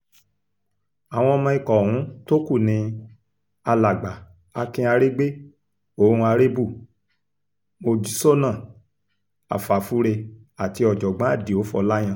àwọn ọmọ ikọ̀ ọ̀hún tó kú ni alàgbà akin aregbe on arebu mojsóná afáfúre àti ọ̀jọ̀gbọ́n àdìo fòláyàn